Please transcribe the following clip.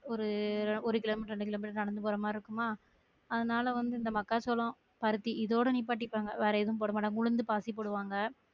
ஒரு ஒரு kilometre இரண்டு கிலோமீட்டர்க்கு நடந்து போற மாதிரி இருக்குமா அதுனால வந்து அந்த மக்காச்சோளம் பருத்தி இதோட நிப்படிப்பாங்க வேற எதும் போட மாட்டாங்க உளுந்து பாசி போடுவாங்க